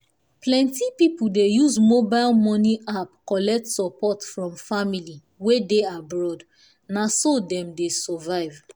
plenty people dey use mobile money app collect support from family wey dey abroad na so dem dey survive.